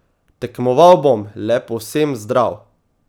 Tekmoval bom le povsem zdrav!